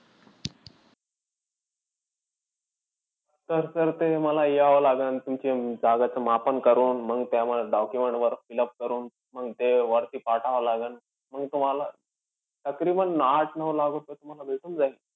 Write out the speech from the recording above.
तर sir ते मला यावं लागेल. तुमच्या जागेचं मापन करून, मंग त्यामध्ये document वगैरे fill-up करून, मग ते वरती पाठवावं लागेल. मग तुम्हाला तकरीबांन आठ-नऊ लाख रुपये तुम्हाला भेटून जाईल.